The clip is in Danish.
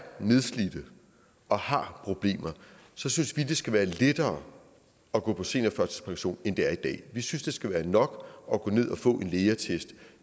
nedslidte og har problemer så synes vi det skal være lettere at gå på seniorførtidspension end det er i dag vi synes det skal være nok at gå ned og få en lægeattest